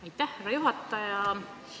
Aitäh, härra juhataja!